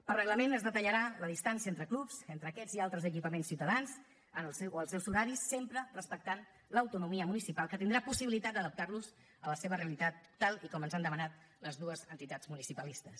per reglament es detallarà la distància entre clubs entre aquests i altres equipaments ciutadans o els seus horaris sempre respectant l’autonomia municipal que tindrà possibilitat d’adaptar los a la seva realitat tal com ens han demanat les dues entitats municipalistes